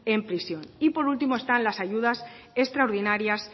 en prisión y por último están las ayudas extraordinarias